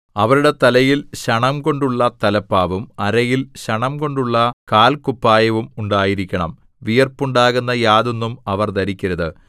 അവരുടെ തലയിൽ ശണംകൊണ്ടുള്ള തലപ്പാവും അരയിൽ ശണംകൊണ്ടുള്ള കാല്ക്കുപ്പായവും ഉണ്ടായിരിക്കണം വിയർപ്പുണ്ടാകുന്ന യാതൊന്നും അവർ ധരിക്കരുത്